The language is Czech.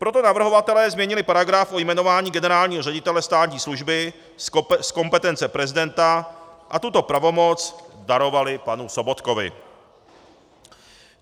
Proto navrhovatelé změnili paragraf u jmenování generálního ředitele státní služby z kompetence prezidenta a tuto pravomoc darovali panu Sobotkovi.